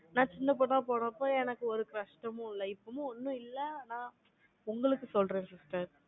நான் சின்ன பொண்ணா போறப்ப, எனக்கு ஒரு கஷ்டமும் இல்லை. இப்பவும் ஒண்ணும் இல்லை. ஆனா, உங்களுக்கு சொல்றேன் sister